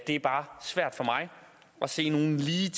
er bare svært for mig at se nogen ligetil